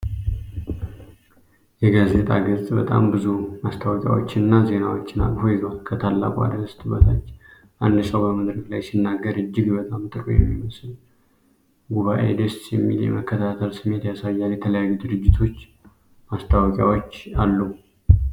የጋዜጣ ገጽ በጣም ብዙ ማስታወቂያዎችንና ዜናዎችን አቅፎ ይዟል። ከታላቁ አርዕስት በታች አንድ ሰው በመድረክ ላይ ሲናገር እጅግ በጣም ጥሩ የሚመስል ጉባኤ ደስ የሚል የመከታተል ስሜት ያሳያል። የተለያዩ የድርጅት ማስታወቂያዎች አሉ።